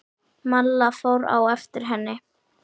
Malla fór á eftir henni.